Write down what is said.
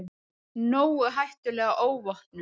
Nógu hættuleg óvopnuð.